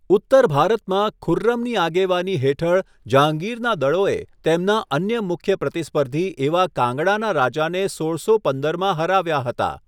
ઉત્તર ભારતમાં, ખુર્રમની આગેવાની હેઠળ જહાંગીરના દળોએ તેમના અન્ય મુખ્ય પ્રતિસ્પર્ધી એવા કાંગડાના રાજાને સોળસો પંદરમાં હરાવ્યા હતા.